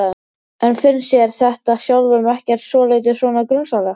En finnst þér þetta sjálfum ekkert svolítið svona grunsamlegt?